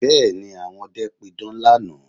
Bẹ́ẹ̀ ni, àwọn ọdẹ pidán lánàá